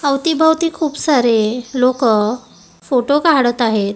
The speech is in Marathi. अवतीभवती खूप सारे लोकं फोटो काढत आहेत.